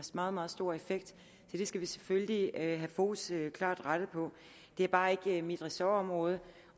meget meget stor effekt så det skal vi selvfølgelig have fokus klart rettet på det er bare ikke mit ressortområde